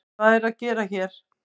Hvað er það að gera hér?